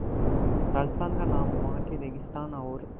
राजस्थान का नाम वहाँ के रेगिस्तान और